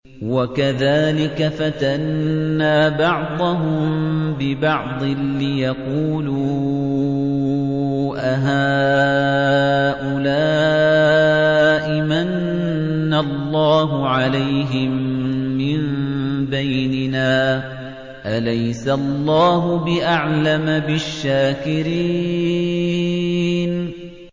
وَكَذَٰلِكَ فَتَنَّا بَعْضَهُم بِبَعْضٍ لِّيَقُولُوا أَهَٰؤُلَاءِ مَنَّ اللَّهُ عَلَيْهِم مِّن بَيْنِنَا ۗ أَلَيْسَ اللَّهُ بِأَعْلَمَ بِالشَّاكِرِينَ